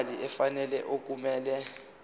imali efanele okumele